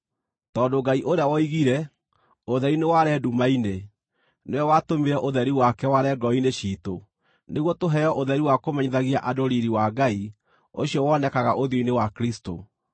Tondũ Ngai ũrĩa woigire, “Ũtheri nĩware nduma-inĩ,” nĩwe watũmire ũtheri wake ware ngoro-inĩ ciitũ nĩguo tũheo ũtheri wa kũmenyithagia andũ riiri wa Ngai ũcio wonekaga ũthiũ-inĩ wa Kristũ.